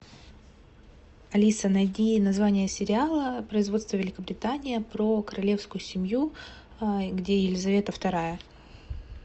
алиса найди название сериала производство великобритания про королевскую семью где елизавета вторая